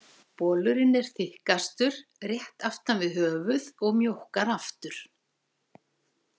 Bolurinn er þykkastur rétt aftan við höfuð og mjókkar aftur.